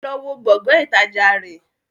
Ẹ lọ wó Gbọ̀ngán ìtajà náà!